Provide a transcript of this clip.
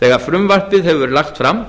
þegar frumvarpið hefur verið lagt fram